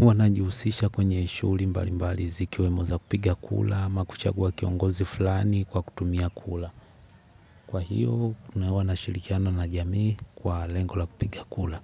Huwa najihusisha kwenye shughuli mbali mbali zikiwemo za kupiga kura ama kuchagua kiongozi fulani kwa kutumia kura. Kwa hiyo tunashirikiana na jamii kwa lengo la kupiga kura.